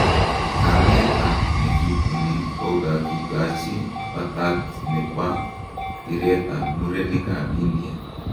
Kamet ap nekituni kokakikachi patat ne pa piret ap murenik ap India